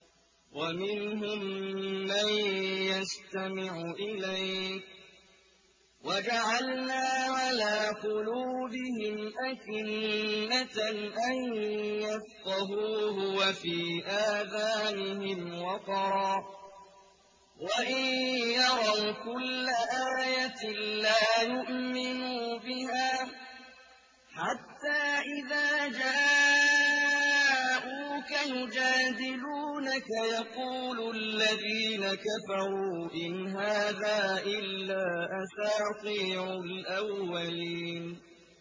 وَمِنْهُم مَّن يَسْتَمِعُ إِلَيْكَ ۖ وَجَعَلْنَا عَلَىٰ قُلُوبِهِمْ أَكِنَّةً أَن يَفْقَهُوهُ وَفِي آذَانِهِمْ وَقْرًا ۚ وَإِن يَرَوْا كُلَّ آيَةٍ لَّا يُؤْمِنُوا بِهَا ۚ حَتَّىٰ إِذَا جَاءُوكَ يُجَادِلُونَكَ يَقُولُ الَّذِينَ كَفَرُوا إِنْ هَٰذَا إِلَّا أَسَاطِيرُ الْأَوَّلِينَ